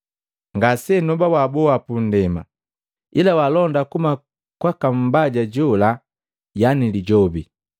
Ngasenoba waboa pundema, ila walonda kuhuma kwaka Mbaja jola yani Lijobi.